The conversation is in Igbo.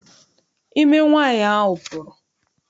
Ime nwaanyị ahụ pụrụ.